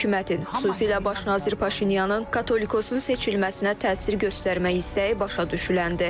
Hökumətin, xüsusilə baş nazir Paşinyanın Katolikosun seçilməsinə təsir göstərmək istəyi başa düşüləndir.